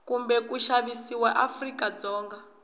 kumbe ku xavisiwa eafrika dzonga